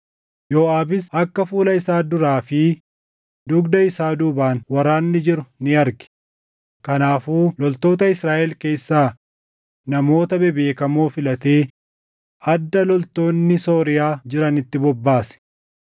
Yooʼaabis akka fuula isaa duraa fi dugda isaa duubaan waraanni jiru ni arge; kanaafuu loltoota Israaʼel keessaa namoota bebeekamoo filatee adda loltoonni Sooriyaa jiranitti bobbaase.